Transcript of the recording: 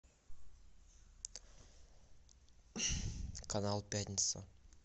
канал пятница